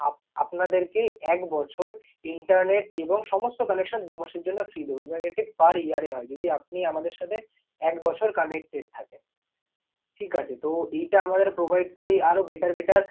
Up~ আপনাদেরকে এক বছর internet এবং সমস্ত connection দু মাসের জন্য free দেব এবং এটা per year এ হয়। যদি আপনি আমাদের সাথে এক বছর connected থাকেন, ঠিকাছে? তো এইটা আমাদের provide করি। আরও better better